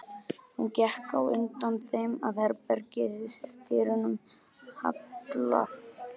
Hún gekk á undan þeim að herbergis- dyrum Halla.